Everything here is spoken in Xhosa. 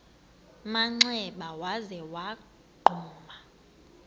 manxeba waza wagquma